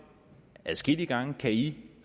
adskillige gange kan i